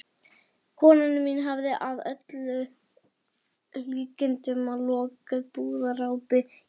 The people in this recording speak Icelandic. Kona mín hafði að öllum líkindum lokið búðarápi í